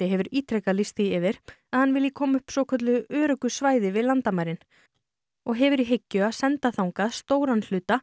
hefur ítrekað lýst því yfir að hann vilji koma upp svokölluðu öruggu svæði við landamærin og hefur í hyggju að senda þangað stóran hluta